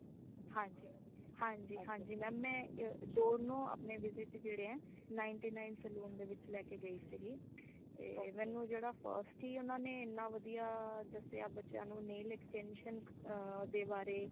ਹਾਂਜੀ ਹਾਂਜੀ ਹਾਂਜੀ mam {overlap }ਮੈਂ ਦੋਨੋ ਅਪਣੇ visit ਜੇੜੇ ਹੈ ninth nine saloon ਦੇ ਵਿਚ ਲੈ ਕੇ ਗਈ ਸੀਗੀ ਤੇ ਮੈਨੂੰ ਜੇੜਾ first ਹੀ ਉਨ੍ਹਾਂਨੇ ਇਨਾ ਵਧੀਆ ਦਸਿਆ ਬੱਚਿਆਂ ਨੂ nail extension ਦੇ ਬਾਰੇ।